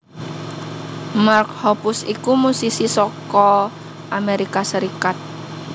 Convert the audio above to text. Mark Hoppus iku musisi saka Amerika Serikat